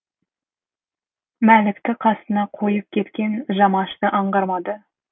мәлікті қасына қойып кеткен жамашты аңғармады